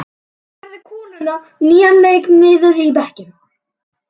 Hann færði koluna á nýjan leik niður í bekkinn.